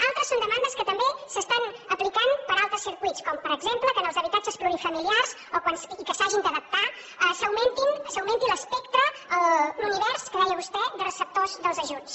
altres són demandes que també s’estan aplicant per altres circuits com per exemple que en els habitatges plurifamiliars i que s’hagin d’adaptar s’augmenti l’espectre l’univers que deia vostè de receptors dels ajuts